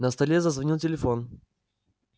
на столе зазвонил телефон